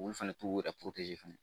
Olu fana t'u yɛrɛ fɛnɛ